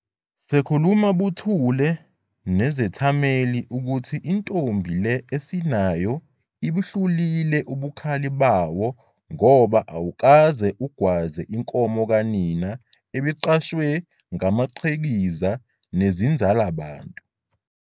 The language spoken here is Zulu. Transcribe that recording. sekukhuluma buthule nezethameli ukuthi intombi le esinayo ibuhlulile ubukhali bawo ngoba awukaze ugwaze inkomo kanina ebiqashwe ngamaqhikiza nezinzalabantu.